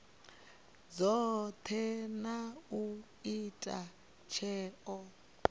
dzothe na u ita tsheo